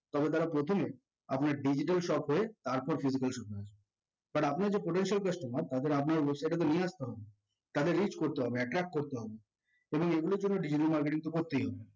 তবে তারা প্রথমে আপনার digital shop এ তারপর digital স্বপ্নে আসবে। but আপনার যে potential customer তাদের আপনাদের website এ তো নিয়ে আসতে হবে তাদের reach করতে হবে attach করতে হবে এবং এগুলোর জন্য digital marketing করতেই হবে